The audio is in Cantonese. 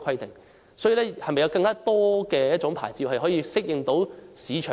政府究竟會否提供有更多類型的牌照，以適應市場和時代